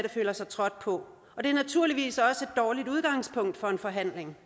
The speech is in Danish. føler sig trådt på og det er naturligvis også et dårligt udgangspunkt for en forhandling